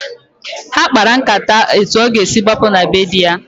Ha kpara nkata etu ọ ga-esi gbapụ na be di ya.